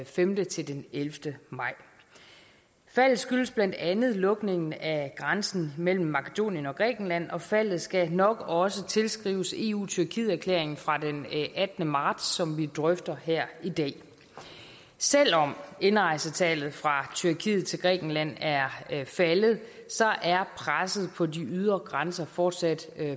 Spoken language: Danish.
femte til den ellevte maj faldet skyldes blandt andet lukningen af grænsen mellem makedonien og grækenland og faldet skal nok også tilskrives eu tyrkiet erklæringen fra den attende marts som vi drøfter her i dag selv om indrejsetallet fra tyrkiet til grækenland er faldet er presset på de ydre grænser fortsat